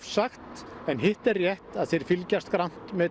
sagt en þeir fylgjast grannt með